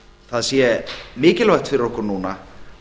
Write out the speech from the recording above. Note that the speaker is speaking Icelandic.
það sé mikilvægt fyrir okkur núna